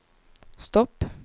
stopp